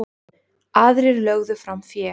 Aðrir lögðu fram fé.